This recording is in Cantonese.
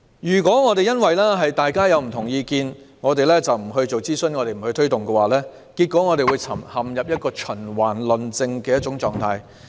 如果因為各方持有不同意見，便不進行諮詢和推動工作，只會陷入循環論證的狀態。